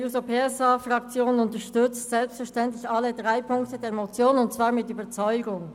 Die SP-JUSO-PSA-Fraktion unterstützt selbstverständlich alle drei Ziffern der Motion und zwar mit Überzeugung.